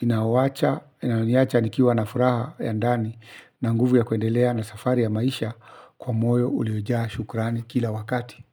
inawacha, inayoniacha nikiwa na furaha ya ndani na nguvu ya kuendelea na safari ya maisha kwa moyo uliojaa shukurani kila wakati.